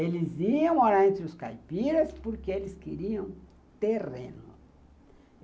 Eles iam morar entre os caipiras porque eles queriam terreno.